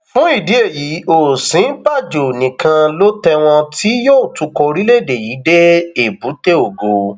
fún ìdí èyí òsínbàjò nìkan ló tẹwọn tí yóò tukọ orílẹèdè yìí dé èbúté ògo